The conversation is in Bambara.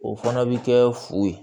O fana bɛ kɛ fu ye